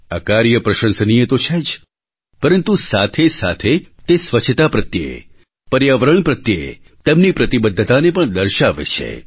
આ કાર્ય પ્રશંસનીય તો છે જ પરંતુ સાથેસાથે તે સ્વચ્છતા પ્રત્યે પર્યાવરણ પ્રત્યે તેમની પ્રતિબદ્ધતાને પણ દર્શાવે છે